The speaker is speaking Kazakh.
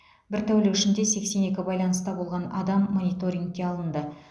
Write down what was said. бір тәулік ішінде сексен екі байланыста болған адам мониторингке алынды